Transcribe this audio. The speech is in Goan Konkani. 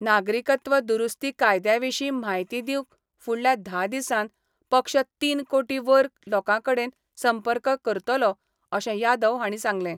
नागरिकत्व दुरुस्ती कायद्याविशी म्हायती दिवंक फुडल्या धा दिसांन पक्ष तीन कोटी वर लोकांकडेन संपर्क करतलो, अशे यादव हाणी सांगले.